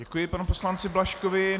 Děkuji panu poslanci Blažkovi.